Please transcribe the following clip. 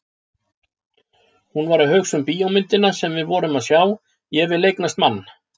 Hún var að hugsa um bíómyndina sem við vorum að sjá, Ég vil eignast mann!